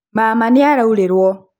maama nĩaraurĩrwo